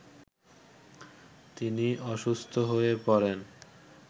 তিনি অসুস্থ হয়ে পড়েন